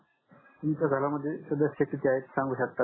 तुमच्या घरा मध्ये सदस्य किती आहेत सांगू शकता का